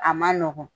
A man nɔgɔn